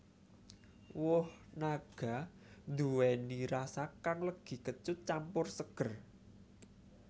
Woh naga nduwèni rasa kang legi kecut campur seger